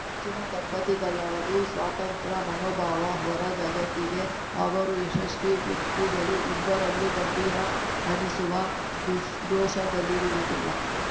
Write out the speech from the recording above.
ಹೆಚ್ಚಿನ ದಂಪತಿಗಳಾದು ಸ್ವತಂತ್ರ ಮನೋಭಾವ ಹೊರ ಜಗತ್ತಿಗೆ ಅವರು ಯಶಸ್ವಿ ವ್ಯಕ್ತಿಗಳು ಇಬ್ಬರಲ್ಲೂ ಗಂಭೀರ ಅನಿಸುವ ದುಷ್ ದೋಷಗಳಿರುವುದಿಲ್ಲ